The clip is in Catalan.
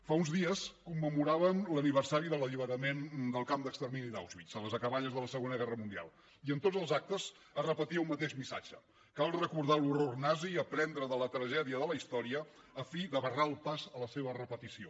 fa uns dies commemoràvem l’aniversari de l’alliberament del camp d’extermini d’auschwitz a les acaballes de la segona guerra mundial i en tots els actes es repetia un mateix missatge cal recordar l’horror nazi i aprendre de la tragèdia de la història a fi de barrar el pas a la seva repetició